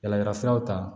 Yala yalafuraw ta